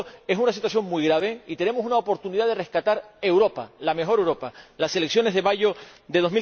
Por tanto, es una situación muy grave y tenemos una oportunidad de rescatar Europa, la mejor Europa las elecciones de mayo de